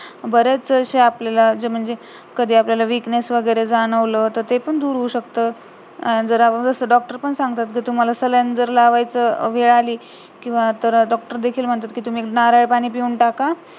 बरेचशे म्हणजे आपल्याला जे म्हणजे कधी आपल्याला weakness वगैरे जाणवलं ते पण दूर होऊ शकत, जर डॉक्टर पण सांगतात जर आपल्याला saline लावायची वेळ आली तर डॉक्टर देखील म्हणतात तुम्ही नारळपाणी पिऊन टाका